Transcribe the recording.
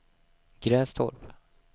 Grästorp